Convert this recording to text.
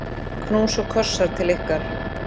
Knús og kossar til ykkar.